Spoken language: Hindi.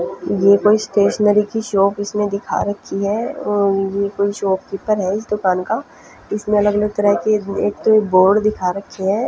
ये कोई स्टेशनरी की शॉप इसने दिखा रखी है और ये कोई शॉपकीपर है इस दुकान का इसमें अलग अलग तरह के एक तो बोर्ड दिखा रखे है।